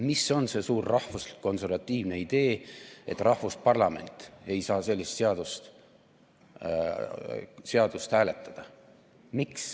Mis on see suur rahvuslik-konservatiivne idee, et rahvusparlament ei saa sellist seadust hääletada?